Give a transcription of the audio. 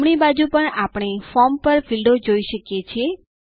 જમણી બાજુ પર આપણે ફોર્મ પર ફીલ્ડો જોઈ શકીએ છીએ